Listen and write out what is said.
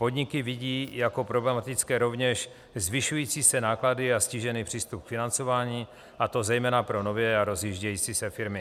Podniky vidí jako problematické rovněž zvyšující se náklady a ztížený přístup k financování, a to zejména pro nové a rozjíždějící se firmy.